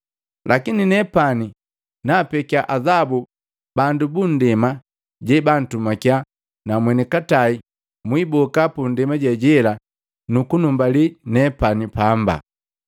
Lakini nepani naapekya azabu bandu bandema jebantumakya na mwenikatai mwiiboka pandema jejela nukunumbali nepani paamba.’